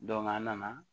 an nana